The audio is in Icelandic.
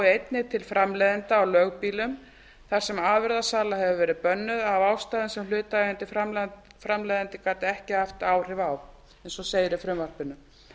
einnig til framleiðenda á lögbýlum þar sem afurðasala hefur verið bönnuð af ástæðum sem hlutaðeigandi framleiðandi gat ekki haft áhrif á eins og segir í frumvarpinu